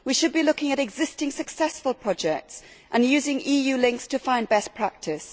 We should be looking at existing successful projects and using EU links to find best practice.